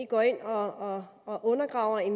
går ind og og undergraver en